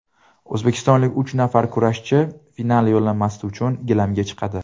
O‘zbekistonlik uch nafar kurashchi final yo‘llanmasi uchun gilamga chiqadi.